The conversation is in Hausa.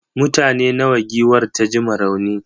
mutane nawa giwar ta ji ma rauni?